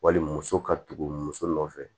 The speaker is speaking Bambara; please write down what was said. Wali muso ka tugu muso nɔfɛ